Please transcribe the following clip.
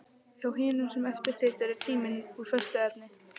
Hjá hinum sem eftir situr er tíminn úr föstu efni.